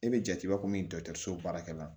E bɛ jate b'a ko mindɔso baarakɛla